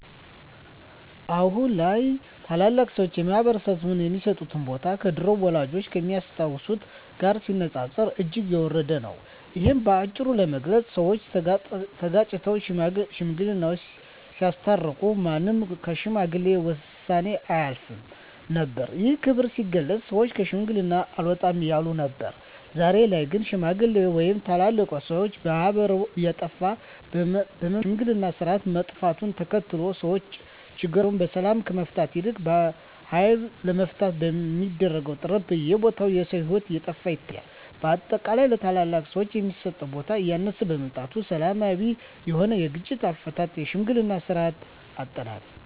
አሁን ላይ ታላላቅ ሰዎች በማህበረሰባችን ሚሰጣቸው ቦታ ከድሮው ወላጆቻችን ከሚያስታውሱት ጋር ሲነጻጸር እጅግ የወረደ ነው። እሂን በአጭሩ ለመግለጽ ሰወች ተጋጭተው ሽማግሌወች ሲያስታርቁ ማንም ከሽማግሌ ውሳኔ አያፈገፍግም ነበር። ይህም ክብር ሲገለጽ ሰወች ከሽማግሌ አልወጣም ይሉ ነበር። ዛሬ ላይ ግን ሽማግሌ ወይም ታላላቆችን ማክበር እየጠፋ በመምጣቱ የሽምግልናው ስርአት መጥፋቱን ተከትሎ ሰወች ችግሮቻቸውን በሰላም ከመፍታት ይልቅ በሀይል ለመፍታት በሚደረግ ጥረት በየቦታው የሰው ሂወት እየጠፋ ይታያል። በአጠቃላይ ለታላላቅ ሰወች የሚሰጠው ቦታ እያነሰ በመምጣቱ ሰላማዊ የሆነውን የግጭት አፈታት የሽምግልናን ስርአት አጠናል።